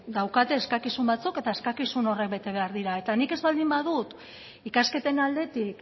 dauzkate eskakizun batzuk eta eskakizun horiek bete behar dira eta nik ez baldin badut ikasketen aldetik